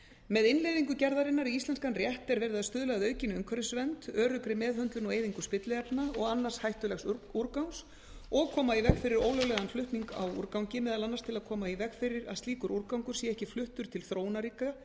með innleiðingu gerðarinnar í íslenskan rétt er verið að stuðla að aukinni umhverfisvernd öruggri meðhöndlun og eyðingu spilliefna og annars hættulegs úrgangs og koma í veg fyrir ólöglegan flutning á úrgangi meðal annars til að koma í veg fyrir að slíkur úrgangur sé ekki fluttur til þróunarríkja